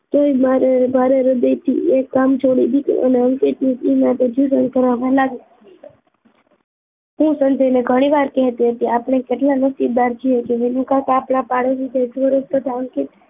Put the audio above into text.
તોય મારે મારી હૃદયથી એક કામ છોડી દીધું અને અંકિત નું એમના ત્યા ટ્યુશન કરાવવા લાગી હું સંજય ને ઘણીવાર કહેતી હતી આપણે કેટલા નસીબદાર છીએ કે વિનુ કાકા આપણા પાડોશી છે સૌરભ કરતાં અંકીત